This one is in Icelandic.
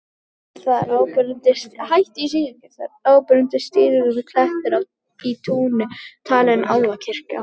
Þar er áberandi strýtulaga klettur í túni, talinn álfakirkja.